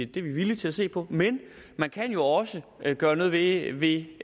det er vi villige til at se på i men man kan jo også gøre noget ved ved